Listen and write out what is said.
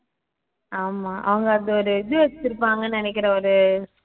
ஆமா அவங்க அது ஒரு இது வச்சுருப்பாங்கன்னு நினைக்கிறேன் ஒரு இது